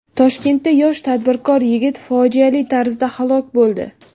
Toshkentda yosh tadbirkor yigit fojiali tarzda halok bo‘ldi.